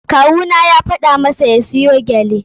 Kawu na ya gaya masa ya siyo gyale.